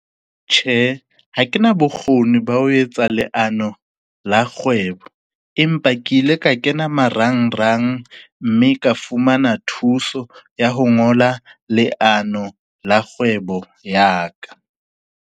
Tjhe, ha ke na bokgoni ba o etsa leano la kgwebo, empa ke ile ka kena marangrang, mme ka fumana thuso ya ho ngola leano la kgwebo ya ka.